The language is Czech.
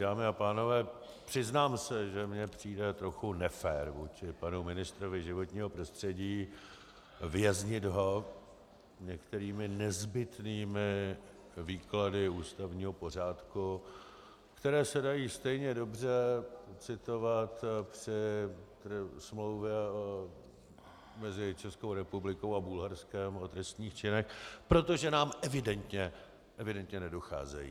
Dámy a pánové, přiznám se, že mi přijde trochu nefér vůči panu ministrovi životního prostředí věznit ho některými nezbytnými výklady ústavního pořádku, které se dají stejně dobře citovat při smlouvě mezi Českou republikou a Bulharskem o trestných činech, protože nám evidentně nedocházejí.